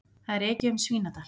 Það er ekið um Svínadal.